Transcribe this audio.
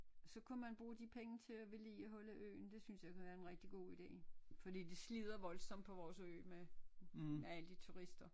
Så kunne man bruge de penge til at vedligeholde øen det synes jeg kunne være en rigtig god ide fordi det slider voldsomt på vores ø med med alle de turister